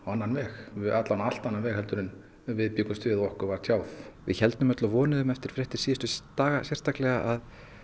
annan veg alla vega á allt annan veg en við bjuggumst við og okkur var tjáð við héldum öll og vonuðum eftir fréttir síðustu daga sérstaklega að